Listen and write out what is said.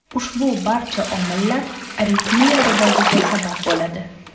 Ushbu barcha omillar aritmiya rivojiga sabab bo‘ladi.